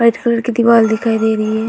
White colour की दीवाल दिखाई दे रही है।